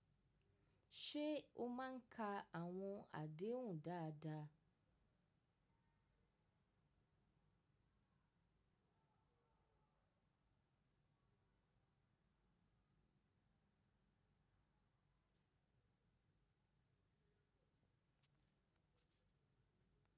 Ṣe o maa n ka awọn adehun daada?